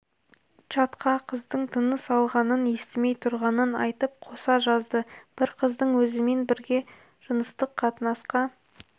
чатқа қыздың тыныс алғанын естімей тұрғанын айтып қоса жазды бір қыздың өзімен бірге жыныстық қатынасқа